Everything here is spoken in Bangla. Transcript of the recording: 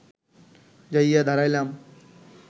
যাইয়া দাঁড়াইলাম